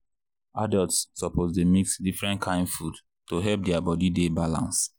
adults suppose dey mix different kain food to help their body dey balance.